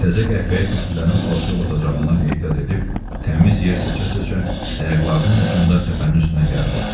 Təzə qəhvəyə tuflilərinin palçığa batacağından ehtiyat edib, təmiz yer seçə-seçə ayaqlarının ucunda təpənin üstünə gəldi.